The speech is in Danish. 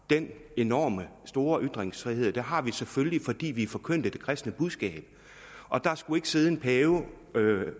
den enorme og store ytringsfrihed og det har vi selvfølgelig fordi vi forkyndte det kristne budskab og der skulle ikke sidde en pave